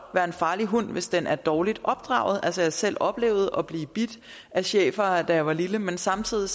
være en farlig hund hvis den er dårligt opdraget jeg har selv oplevet at blive bidt af schæfere da jeg var lille men samtidig